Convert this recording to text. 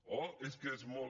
oh és que és molt